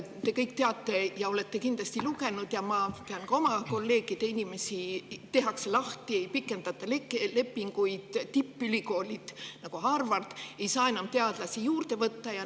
Te kõik teate seda ja olete kindlasti lugenud – ma tean ka oma kolleegide kaudu –, et inimesi lastakse lahti, ei pikendata nende lepinguid, ja ka tippülikoolid, nagu Harvard, ei saa enam teadlasi juurde võtta.